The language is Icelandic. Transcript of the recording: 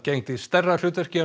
gegndi stærra hlutverki